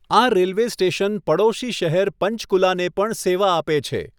આ railway station પડોશી શહેર પંચકુલાને પણ સેવા આપે છે.